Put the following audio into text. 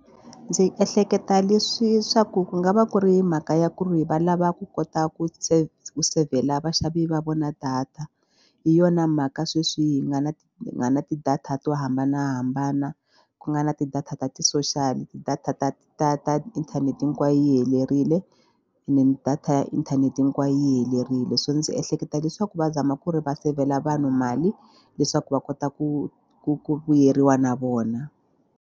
Ndzi ehleketa leswi swa ku ku nga va ku ri mhaka ya ku ri va lava ku kota ku save-la vaxavi va vona data. Hi yona mhaka sweswi hi nga na na na ti-data to hambanahambana ku nga na ti-data ta ti-social ti-data ta ta ta inthanete hinkwayo yi helerile and then data ya inthanete hinkwayo yi helerile swo ndzi ehleketa leswaku va zama ku ri va save-la vanhu mali leswaku va kota ku ku ku vuyeriwa na vona.